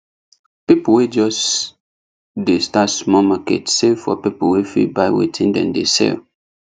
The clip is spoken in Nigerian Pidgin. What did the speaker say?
people wey just dey start small market sell for people wey fit buy wetin dem dey sell